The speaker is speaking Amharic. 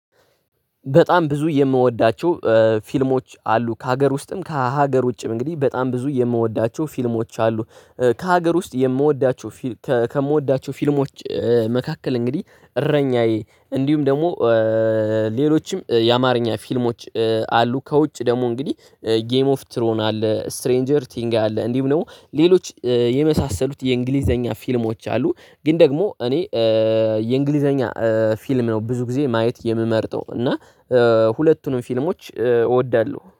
በጣም ብዙ የምወዳቸው ፊልሞች አሉ። ከሀገር ውስጥም ከሀገር ውጭም እንግዲህ በጣም ብዙ የምወዳቸው ፊልሞች አሉ። ከሀገር ውስጥ የምወዳቸው ከምወዳቸው ፊልሞች መካከል እንግዲህ እረኛዬ እንዲሁም ደግሞ ሌሎችም የአማርኛ ፊልሞች አሉ። ከውጭ ደግሞ እንግዲህ ጌም ኦፍ ትሮን አለ፣ ስትሬንጀር ቲንግ አለ እንዲሁም ደግሞ ሌሎች የመሳሰሉት የእንግሊዘኛ ፊልሞች አሉ ግን ደግሞ እኔ የእንግሊዘኛ ፊልም ነው ብዙ ጊዜ ማየት የምመርጠው እና ሁለቱንም ፊልሞች እወዳለሁ።